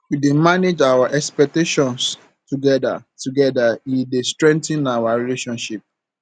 we dey manage our expectations together together e dey strengthen our relationship